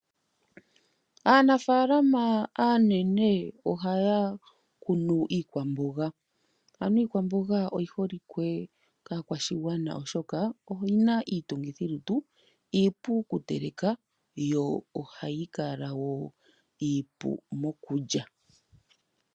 Aanafaalama aanene oha ya kunu iikwamboga. Ano iikwamboga oyi holike kaskwashigwana oshoka oyina, iitungithilutu, iipu kuteleka yo oha yi kala wo iipu mokulya.